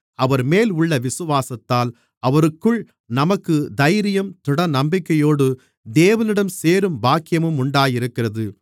அவர்மேல் உள்ள விசுவாசத்தால் அவருக்குள் நமக்குத் தைரியமும் திடநம்பிக்கையோடு தேவனிடம் சேரும் பாக்கியமும் உண்டாயிருக்கிறது